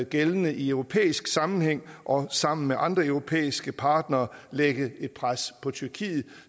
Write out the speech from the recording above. gældende i europæisk sammenhæng og sammen med andre europæiske partnere lægge et pres på tyrkiet